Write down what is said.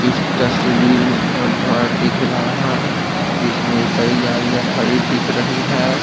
इस तस्वीर में एक घर दिख रहा है जिसमें कई गाड़ियां खड़ी दिख रही है।